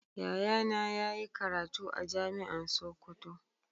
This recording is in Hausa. Yayana yayi karatu a jami'an sokoto.